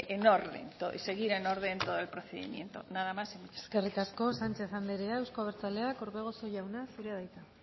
seguir en orden todo el procedimiento nada más y muchas gracias eskerrik asko sánchez anderea euzko abertzaleak orbegozo jauna zurea da hitza